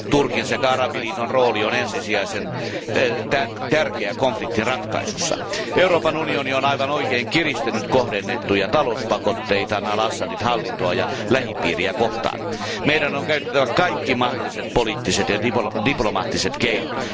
Turkin sekä Arabiliiton rooli on ensisijaisen tärkeä konfliktin ratkaisussa. Euroopan unioni on oikein kiristänyt kohdennettuja talouspakotteitaan al Assadin hallintoa ja lähipiiriä kohtaan. Meidän on käytettävä kaikki mahdolliset poliittiset ja diplomaattiset keinot.